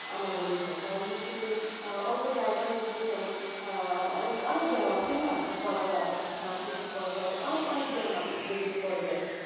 আমার মনে হয় কারণ হচ্ছে যে আহ অল্প জায়গার মধ্যে যেমন আহ অনেক অনেক ব্যায়াম আছে না যে করা যায় আহ push up করা যায় আরও অনেক অনেক ব্যায়াম আছে যেগুলো করা যায়